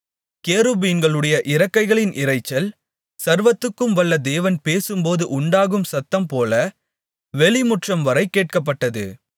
கேருபீன்களுடைய இறக்கைகளின் இரைச்சல் சர்வத்துக்கும் வல்ல தேவன் பேசும்போது உண்டாகும் சத்தம்போல வெளிமுற்றம்வரை கேட்கப்பட்டது